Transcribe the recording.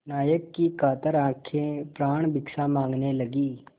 नायक की कातर आँखें प्राणभिक्षा माँगने लगीं